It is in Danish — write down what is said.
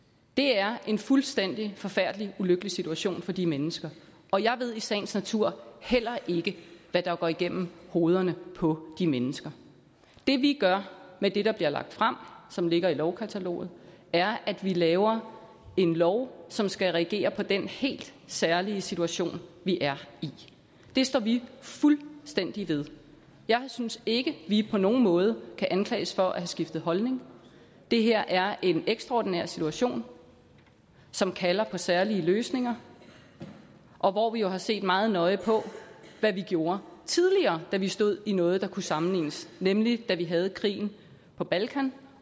det er en fuldstændig forfærdelig ulykkelig situation for de mennesker og jeg ved i sagens natur heller ikke hvad der går igennem hovederne på de mennesker det vi gør med det der bliver lagt frem og som ligger i lovkataloget er at vi laver en lov som skal reagere på den helt særlige situation vi er i det står vi fuldstændig ved jeg synes ikke vi på nogen måde kan anklages for at have skiftet holdning det her er en ekstraordinær situation som kalder på særlige løsninger og hvor vi jo har set meget nøje på hvad vi gjorde tidligere da vi stod i noget der kunne sammenlignes med nemlig da vi havde krigen på balkan